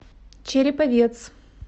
череповец